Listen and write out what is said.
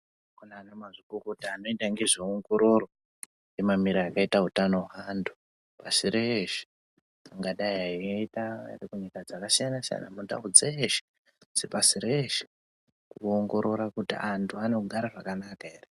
Kunaanamazvikokota anoita ngezvewongororo emamiro akaita hutano weantu pasi reshe, kungadai ayiita arikunyika dzakasiyana siyana, mundawo dzeshe pasi reshe wongorora kuti antu anogara zvakanaka here.